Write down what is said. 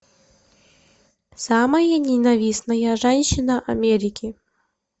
самая ненавистная женщина америки